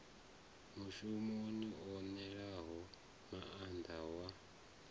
mushumi o ṋewaho maanḓa wa